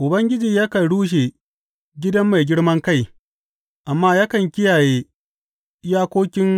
Ubangiji yakan rushe gidan mai girman kai amma yakan kiyaye iyakokin